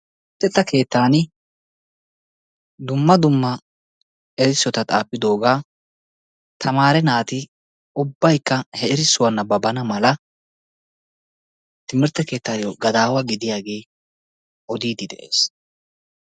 Luxetta keettan dumma dumma erissotta xaafidoga tamaaree naati ubbaykka he erissuwa naabbabana mala timirtte keettayo gadaawaa gidiyagee odiiddi de'ees.